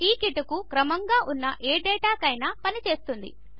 ఈ కిటుకు క్రమముగా ఉన్న ఏ డేటాకైనా పని చేస్తుంది